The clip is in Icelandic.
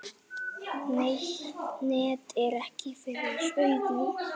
Net er fyrir augum.